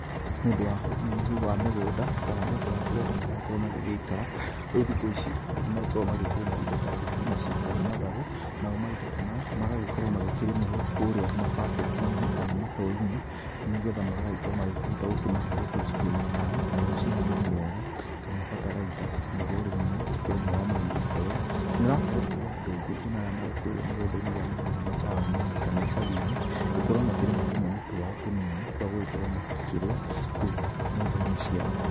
Nĩũndũ wa ũnyihu wa mĩgũnda kana nĩũndũ wa kũrĩa andũ maragĩkorwo magĩgĩikara, rĩu thikũ ici andũ nĩmaragĩkorwo makĩrĩma indo ta thibinaci kana matharu namo maindo ta maya, magagĩkorwo makĩrĩmĩrwo ta kũrĩa mabaketi-inĩ kana matoo-inĩ nĩgetha magagĩkorwo magĩkĩhota gũgĩcihũnia maaĩ na gũgĩcihe thumu wega kana bataraitha. Naguo ũrĩmi ũyũ ũkĩrĩ mwega mũno nĩ gũkorwo nĩũrakĩhotithia andũ aingĩ nginya arĩa makĩrĩ kũrĩa mĩgũnda-inĩ mĩnini mataũninĩ kana icaginĩ, gũkorwo makĩrĩma tũnyeni twao tũnini twagũkorwo makĩrĩa kũu nyũmbainĩ ciao.